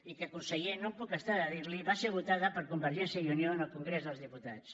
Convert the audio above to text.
i que conseller no em puc estar de dir li ho va ser votada per convergència i unió en el congrés dels diputats